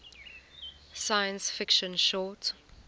science fiction short